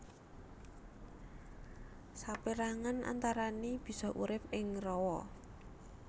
Sapérangan antarané bisa urip ing rawa